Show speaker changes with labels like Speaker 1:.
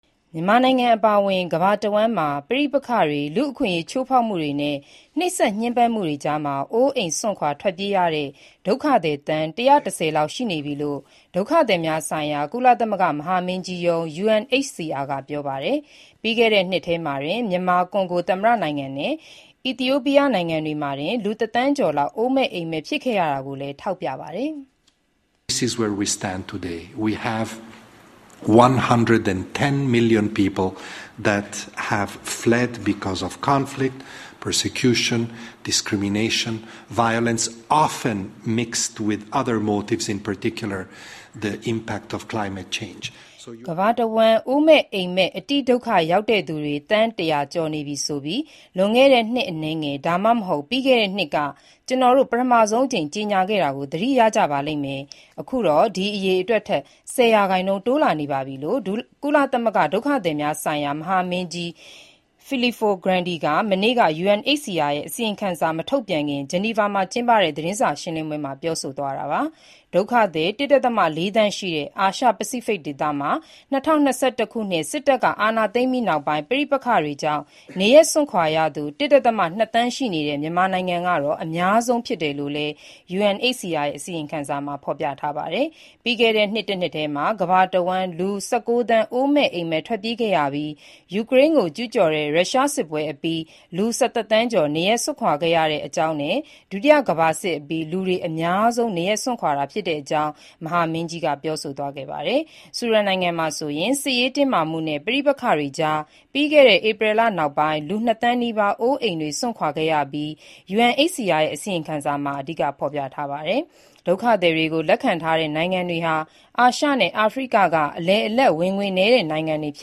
Speaker 1: မြန်မာနိုင်ငံ အပါအဝင် ကမ္ဘာတဝှမ်းမှာ ပဋိပက္ခတွေ၊ လူ့အခွင့်အရေးချိုးဖေါက်မှုတွေနဲ့ နှိပ်စက်ညှဉ်းပန်းမှုတွေကြား အိုးအိမ်စွန့်ခွာထွက်ပြေးတဲ့ ဒုက္ခသည်သန်း ၁၁၀ လောက်ရှိနေပြီလို့ ဒုက္ခသည်များဆိုင်ရာ ကုလသမဂ္ဂ မဟာမင်းကြီးရုံး UNHCR က ပြောပါတယ်။ ပြီးခဲ့တဲ့နှစ်ထဲမှာတင် မြန်မာ၊ ကွန်ဂိုသမ္မတနိုင်ငံနဲ့ အီသီယိုပီယားနိုင်ငံတွေမှာတင် လူတသန်းကျော်လောက် အိုးမဲ့အိမ်မဲ့ဖြစ်ခဲ့ရတာကိုလည်း ထောက်ပြပါတယ်။ “
Speaker 2: ကမ
Speaker 1: ္ဘာတဝှမ်းအိုးမဲ့အိမ့်မဲ့ အတိဒုက္ခရောက်တဲ့သူတွေသန်း ၁၀၀ကျော်နေပြီဆိုပြီးလွန်ခဲ့တဲ့ နှစ်အနည်းငယ်၊ဒါမှမဟုတ် ပြီးခဲ့တဲ့နှစ်ကကျနော်တို့ ပထမအဆုံးအကြိမ်ကြေညာခဲ့တာကို သတိရကြပါလိမ့်မယ်။အခုတော့ အဲဒီအရေအတွက်ထက် ၁၀ရာခိုင်နှုန်း ထပ်တိုးလာနေပြီ။” လို့ ဒုက္ခသည်များဆိုင်ရာကုလသမဂ္ဂ မဟာမင်းကြီး Filippo Grandi က မနေ့က UNHCR ရဲ့ အစီရင်ခံစာမထုတ်ပြန်ခင် ဂျနီဗာမှာကျင်းပတဲ့ သတင်းစာရှင်းလင်းပွဲမှာ ပြောဆိုသွားတာပါ။ ဒုက္ခသည် ၁.၄ သန်း ရှိတဲ့ အာရှ၊ ပစိဖိတ်ဒေသမှာ ၂၀၂၁ ခုနှစ် စစ်တပ်က အာဏာသိမ်းပြီးနောက်ပိုင်း ပဋိပက္ခတွေကြောင့် နေရပ်စွန့်ခွာရသူ ၁.၂ သန်း ရှိနေတဲ့ မြန်မာနိုင်ငံကတော့ အများဆုံး ဖြစ်တယ်လို့လည်း UNHCR ရဲ့ အစီရင်ခံစာမှာ ဖော်ပြထားတာပါ။ ပြီးခဲ့တဲ့နှစ်တနှစ်ထဲမှာကမ္ဘာတဝှမ်း လူ၁၉ သန်းအိုးမဲ့အိမ်မဲ့ ထွက်ပြေးခဲ့ရပြီးယူကရိန်းကို ကျုးကျော်တဲ့ရုရှားစစ်ပွဲအပြီး လူ၁၁ သန်းကျော်နေရပ်စွန့်ခွာခဲ့ရတဲ့အကြောင်းနဲ့၊ဒုတိယ ကမ္ဘာစစ်အပြီးလူတွေ အများဆုံး၊အကြီးမားဆုံး နေရပ်စွန့်ခွာရတာဖြစ်တဲ့အကြောင်းမဟာမင်းကြီး Filippo Grandi ကပြောဆိုသွားပါတယ်။ ဆူဒန်နိုင်ငံမှာဆိုရင် စစ်ရေးတင်းမာမှုနဲ့ပဋိပက္ခတွေကြား ပြီးခဲ့တဲ့ဧပြီလနောက်ပိုင်း လူ၂ သန်းနီးပါးအိုးအိမ်တွေစွန့်ပြီး ဘေးလွတ်ရာကိုထွက်ပြေးခဲ့ရတာကိုလည်း UNHCR ရဲ့ အစီရင်ခံစာမှာ အဓိကဖေါ်ပြပါတယ်။ ဒုက္ခသည်တွေကိုလက်ခံထားတဲ့ နိုင်ငံတွေဟာအာရှနဲ့ အာဖရိကကအလယ်အလတ်ဝင်ငွေနဲ့ ဝင်ငွေနည်းပါးတဲ့ နိုင်ငံတွေဖြ